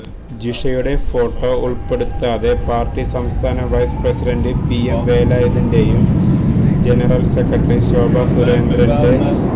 ജിഷയുടെ photo ഉൾപ്പെടുത്താതെ party സംസ്ഥാന vice president PM വേലായുധന്റെയും ജനറൽ സെക്രട്ടറി ശോഭാ സുരേന്ദ്രന്റ